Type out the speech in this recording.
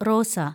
റോസ